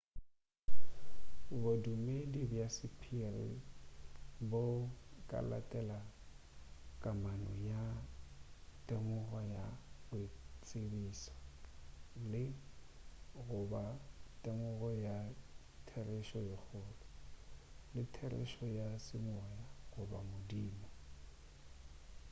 bodumedi bja sephiri bo ka latela kamano le temogo ya boitsebišo le goba temogo ya therešo ye kgolo le therešo ya semoya goba modimo